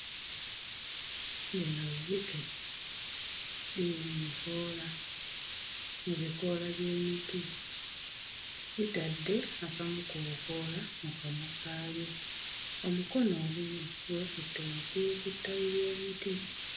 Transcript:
Lino zzike liri mu mikoola mu bikoola by'emiti litadde akamu ku bukoola mu kamwa kaalyo omukono ogumu gwekutte waggulu ku ttabi ly'omuti.